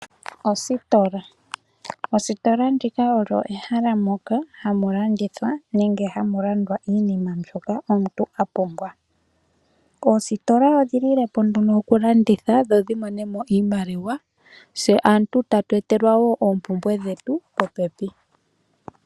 Ostola, ostola oyo ehala moka hamulandithwa nenge hamulandwa iinima mbyoka omuntu apumbwa oositola odhilile po okulanditha dho dhimone mo iimaliwa, tse aantu tatu etelwa oompumbwe dhetu popepi.